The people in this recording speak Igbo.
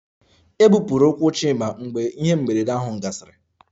E gbupụrụ ụkwụ Chima mgbe ihe mberede ahụ gasịrị